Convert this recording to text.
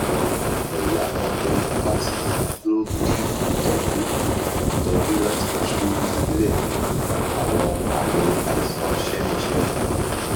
awọn ẹya montelukast lo bi itọju itọju lati tu silẹ awọn aami aisan semisemi